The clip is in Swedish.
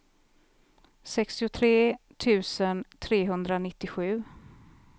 sextiotre tusen trehundranittiosju